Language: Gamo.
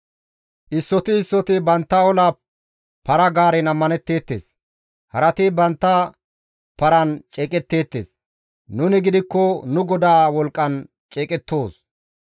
Issoti issoti bantta ola para-gaaren ammanetteettes; harati bantta paran ceeqetteettes; nuni gidikko nu GODAA wolqqan ceeqettoos.